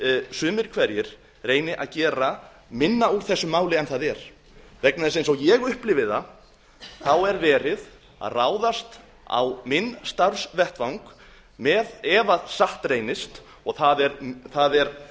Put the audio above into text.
sumir hverjir reyni að gera minna úr þessu máli en það er eins og ég upplifi það er verið að ráðast á minn starfsvettvang með ef satt reynist og það er